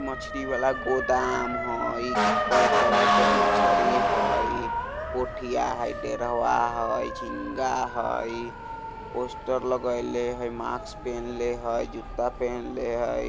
मछरी वला गोदाम हई कय तरह के मछरी हई पोठिया हई डेरहवा हई झींगा हई पोस्टर लगैले हई मास्क पिन्हले हई जूता पहनले हई।